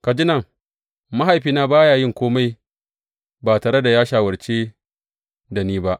Ka ji nan, mahaifina ba ya yin kome ba tare da ya shawarce da ni ba.